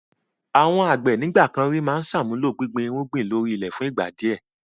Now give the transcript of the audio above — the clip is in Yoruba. Àwọn àgbẹ̀ ń ìgbàkan ríi máa ń sààmuló gbíngbin irúgbìn ló rí ilẹ̀ fún ìgbà di ẹ.